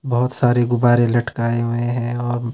बहुत सारे गुब्बारे लटकाए हुए हैं और--